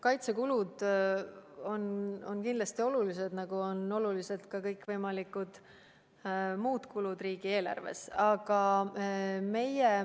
Kaitsekulud on kindlasti olulised, nagu on olulised ka kõikvõimalikud muud kulud riigieelarves.